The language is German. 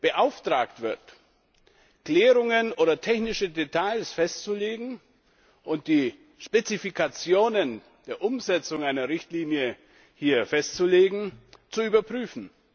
beauftragt wird, Klärungen oder technische Details festzulegen und die Spezifikationen der Umsetzung einer Richtlinie festzulegen, zu überprüfen.